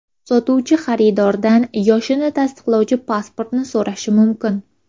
Sotuvchi xaridordan yoshini tasdiqlovchi pasportini so‘rashi mumkin.